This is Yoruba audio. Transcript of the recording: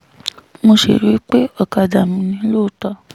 mo sì rí i pé ọ̀kadà mi ni lóòótọ́